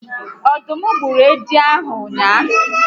Ọdụm gburu edi a ụnyaahụ?